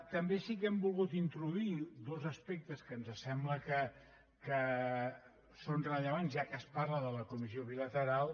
també sí que hem volgut introduir dos aspectes que ens sembla que són rellevants ja que es parla de la comissió bilateral